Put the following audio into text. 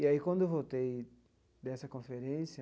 E aí, quando eu voltei dessa conferência,